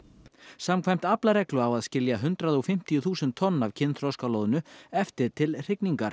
samkvæmt aflareglu á að skilja hundrað og fimmtíu þúsund tonn af kynþroska loðnu eftir til hrygningar